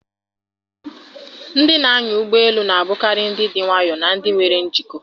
Ndị na-anya ụgbọ elu na-abụkarị ndị dị nwayọọ na ndị nwere njikọ.